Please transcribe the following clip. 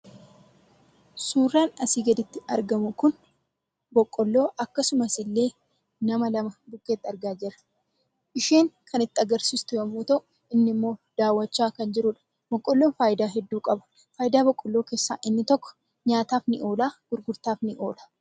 Suuraan asii gaditti argamu kun boqqoolloo akkasumas illee nama lama argaa jirra. Isheen agarsisaa kan jirtu yoo ta'u, inni immoo daawwataa kan jirudha. Boqqoolloon faidaa heduu qaba. Fayidaa boqqoolloo keessaa inni tokko nyaataaf ni oola, gurgurtaaf ni oola.